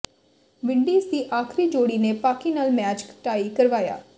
Windies ਦੀ ਆਖ਼ਰੀ ਜੋੜੀ ਨੇ ਪਾਕਿ ਨਾਲ ਮੈਚ ਟਾਈ ਕਰਵਾਇਆ